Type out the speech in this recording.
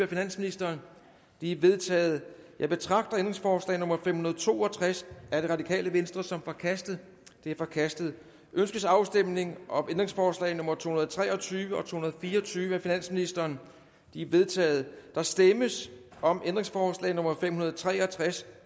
finansministeren de er vedtaget jeg betragter ændringsforslag nummer fem hundrede og to og tres af rv som forkastet det er forkastet ønskes afstemning om ændringsforslag nummer to hundrede og tre og tyve og to hundrede og fire og tyve af finansministeren de er vedtaget der stemmes om ændringsforslag nummer fem hundrede og tre og tres